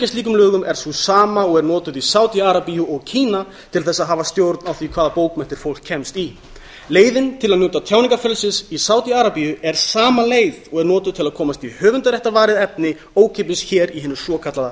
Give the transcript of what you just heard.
slíkum lögum er sú sama og er notuð í sádi arabíu og kína til þess að hafa stjórn á því hvaða bókmenntir fólk kemst í leiðin til að njóta tjáningarfrelsis í sádi arabíu er sama leið og er notuð til að komast í höfundaréttarvarið efni ókeypis hér í hinu svokallaða